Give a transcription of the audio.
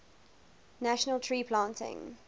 national tree planting